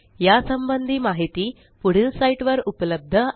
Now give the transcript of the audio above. या संबंधी माहिती पुढील साईटवर उपलब्ध आहे